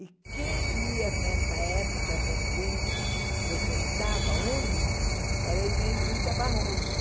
E quem ia nessa época também, frequentava a UNE, era a Inezita Barroso.